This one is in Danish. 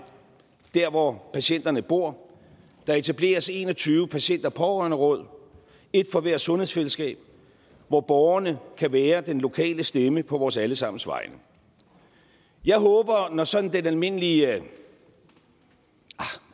der hvor patienterne bor og der etableres en og tyve patient og pårørenderåd et for hvert sundhedsfællesskab hvor borgerne kan være den lokale stemme på vores alle sammens vegne jeg håber at man når sådan den almindelige hvad